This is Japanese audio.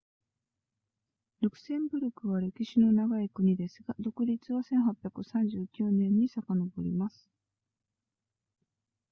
ルクセンブルクは歴史の長い国ですが独立は1839年に遡ります